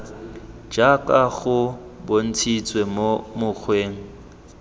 jaaka go bontshitswe mo mokgweng